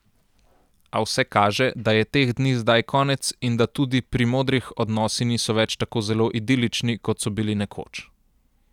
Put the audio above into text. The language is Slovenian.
A vse kaže, da je teh dni zdaj konec in da tudi pri modrih odnosi niso več tako zelo idilični, kot so bili nekoč.